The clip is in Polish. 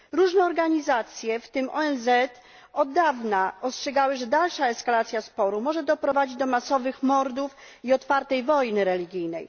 Różne organizacje, w tym ONZ, od dawna ostrzegały, że dalsza eskalacja sporu może doprowadzić do masowych mordów i otwartej wojny religijnej.